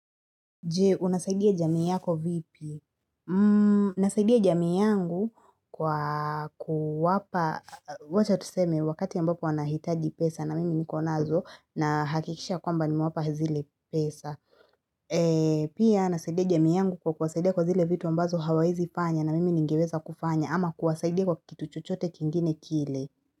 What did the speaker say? Je, unasaidia jamii yako vipi? Nasaidia jamii yangu kwa kuwapa, wacha tuseme wakati ambapo wanahitaji pesa na mimi niko nazo na hakikisha kwamba nimewapa zile pesa. Pia nasaidia jamii yangu kwa kuwasaidia kwa zile vitu ambazo hawaezifanya na mimi ningeweza kufanya ama kuwasaidia kwa kitu chochote kingine kile.